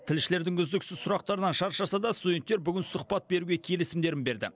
тілшілердің үздіксіз сұрақтарынан шаршаса да студенттер сұхбат беруге келісімдерін берді